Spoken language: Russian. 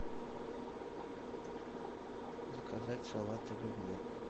заказать салат оливье